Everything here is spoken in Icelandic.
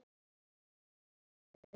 Þau höfðu unnið.